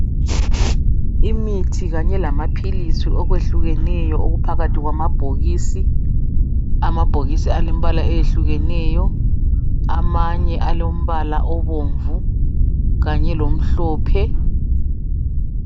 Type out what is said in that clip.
Imithi kanye lamaphilisi okwehlukeneyo okuphakathi kwamabhokisi .Amabhokisi alembala eyehlukeneyo .Amanye alombala obomvu kanye lomhlophe .